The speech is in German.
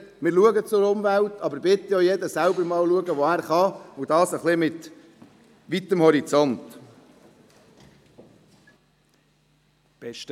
Wir schauen zur Umwelt, aber jeder soll bitte selber schauen, wo er etwas tun kann, und dies bitte mit weitem Horizont.